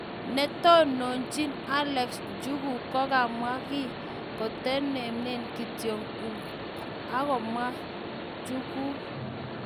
Negategochini Alex njuguk komwa kiy, katainemu kityo agomwa"njukuk"